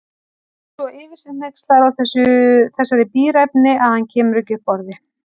Svo yfir sig hneykslaður á þessari bíræfni að hann kemur ekki upp orði.